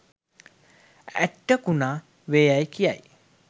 ඇට්ටකුණා වේ යැයි කියයි.